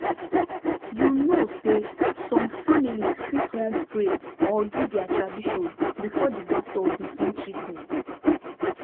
you know say some families fit wan pray or do their tradition before the doctor begin treatment